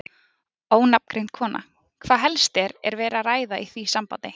Ónafngreind kona: Hvað helst er, er verið að ræða í því sambandi?